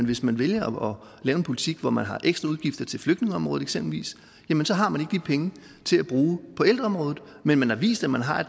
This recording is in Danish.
hvis man vælger at lave en politik hvor man har ekstra udgifter til eksempelvis flygtningeområdet jamen så har man de penge til at bruge på ældreområdet men man har vist at man har